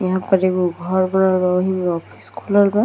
यहाँ पर एगो घर बनल बा | ओहि में ऑफिस खुलल बा |